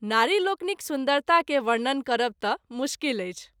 नारि लोकनिक सुन्दरता के वर्णन करब त’ मुश्किल अछि।